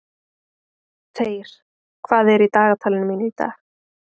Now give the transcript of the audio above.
Þeyr, hvað er í dagatalinu mínu í dag?